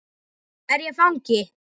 Er ég fangi?